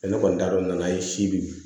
ne kɔni t'a dɔn n'a ye sibiri